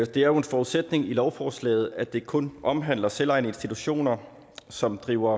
det er jo en forudsætning i lovforslaget at det kun omhandler selvejende institutioner som driver